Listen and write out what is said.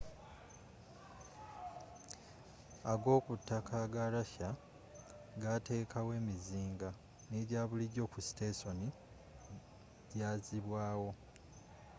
agokutaka aga russia gateekawo emizinga n'ejabulijo ku sitesoni jazibwaawo